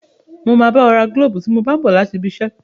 Mo máa bá ẹ ra gílóbù tí mo bá n bọ̀ láti ibi iṣẹ́